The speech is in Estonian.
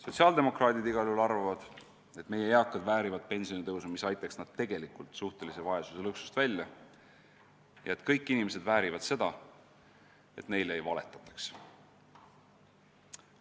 Sotsiaaldemokraadid igal juhul arvavad, et meie eakad väärivad pensionitõusu, mis aitaks nad suhtelise vaesuse lõksust välja, ja et kõik inimesed väärivad seda, et neile ei valetataks.